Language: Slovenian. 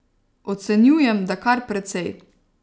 Ocenjujem, da kar precej.